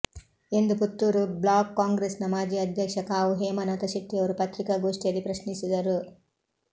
ಎಂದು ಪುತ್ತೂರು ಬ್ಲಾಕ್ ಕಾಂಗ್ರೆಸ್ನ ಮಾಜಿ ಅಧ್ಯಕ್ಷ ಕಾವು ಹೇಮನಾಥ ಶೆಟ್ಟಿಯವರು ಪತ್ರಿಕಾಗೋಷ್ಠಿಯಲ್ಲಿ ಪ್ರಶ್ನಿಸಿದರು